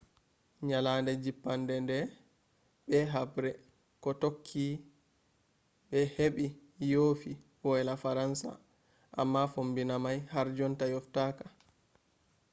nyalade jippande nde be habre ko tokki be heɓɓi yofi woyla faransa. amma fombina mai har jonta yoftaka